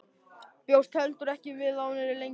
Bjóst heldur ekki við að hún yrði lengi.